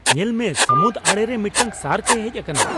ᱧᱮᱞ ᱢᱮ ! ᱥᱟᱹᱢᱩᱫ ᱟᱲᱮ ᱨᱮ ᱢᱤᱫᱴᱟᱝ ᱥᱟᱨᱠᱼᱮ ᱦᱮᱡ ᱟᱠᱟᱱᱟ !